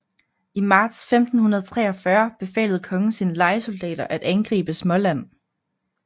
I marts 1543 befalede kongen sine lejesoldater at angribe Småland